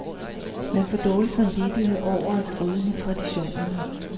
Man får dårlig samvittighed over at bryde med traditionerne.